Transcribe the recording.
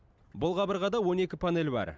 бұл қабырғада он екі панель бар